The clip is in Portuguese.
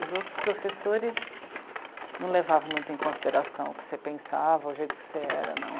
Os outros professores não levavam muito em consideração o que você pensava, o jeito que você era não.